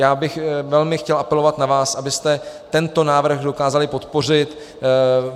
Já bych velmi chtěl apelovat na vás, abyste tento návrh dokázali podpořit.